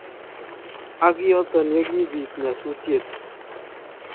Ak yoton yekibiit nyasutyet !